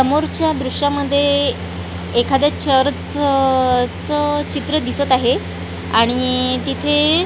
समोरच्या दृश्यामध्ये एखाद्या चर्चच चित्र दिसत आहे आणि तिथे--